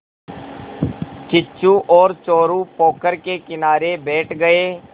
किच्चू और चोरु पोखर के किनारे बैठ गए